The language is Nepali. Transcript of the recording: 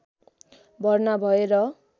भर्ना भए र